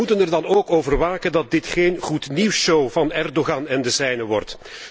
Wij moeten er dan ook over waken dat dit geen goed nieuws show van Erdoğan en de zijnen wordt.